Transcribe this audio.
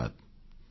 ଧନ୍ୟବାଦ